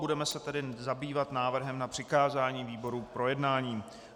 Budeme se tedy zabývat návrhem na přikázání výborům k projednání.